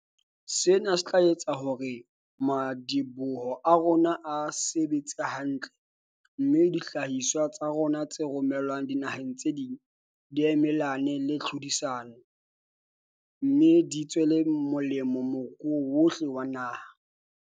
Sena se tla etsa hore madi-boho a rona a sebetse hantle, mme dihlahiswa tsa rona tse romelwang dinaheng tse ding di emelane le tlhodisano, me di tswele molemo moruo wohle wa naha.